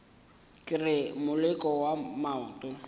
ke re moleko wa maoto